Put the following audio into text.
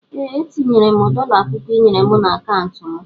Ee etinyere mụ dola pụkụ ịnyere mụ na akauntu mụ.